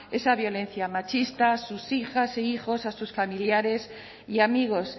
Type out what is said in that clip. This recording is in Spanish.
esa violencia machista sus hijas e hijos sus familiares y amigos